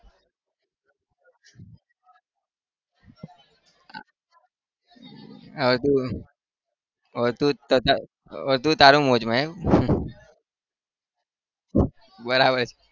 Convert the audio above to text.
તું તારી મોજમાં બરાબર છે